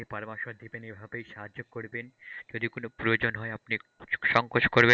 আমাকে পরামর্শ দিবেন এভাবেই সাহায্য করবেন। যদি কোন প্রয়োজন হয় আপনি সঙ্কোচ করবেন না